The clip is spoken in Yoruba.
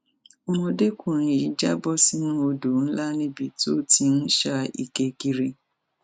ọmọdékùnrin yìí já bọ sínú odò ńlá níbi tó ti ń sá ike kiri